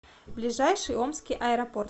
ближайший омский аэропорт